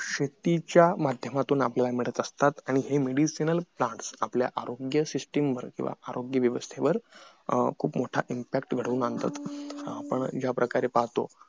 शेतीच्या माध्यमातून आपल्याला हे मिळत असतात आणि हे medicinal plants आपल्या आरोग्य system वर किंवा आरोग्य व्यवस्थेवर खूप मोठा impact घडून आणतात आपण ज्या प्रकारे पाहतो